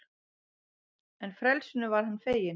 En frelsinu var hann feginn.